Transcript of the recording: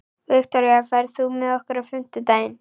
Viktoria, ferð þú með okkur á fimmtudaginn?